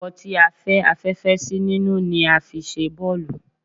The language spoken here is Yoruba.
Awọ tí a fẹ́ afẹ́fẹ́ sí nínú ni a fi ṣe bọ́ọ̀lù